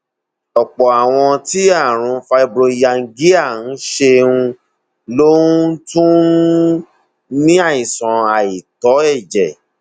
ọpọ àwọn tí àrùn fibromyalgia ń ṣe um ló um tún ní um àìsàn àìtó ẹjẹ